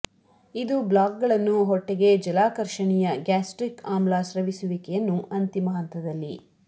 ಇದು ಬ್ಲಾಕ್ಗಳನ್ನು ಹೊಟ್ಟೆಗೆ ಜಲಾಕರ್ಷಣೀಯ ಗ್ಯಾಸ್ಟ್ರಿಕ್ ಆಮ್ಲ ಸ್ರವಿಸುವಿಕೆಯನ್ನು ಅಂತಿಮ ಹಂತದಲ್ಲಿ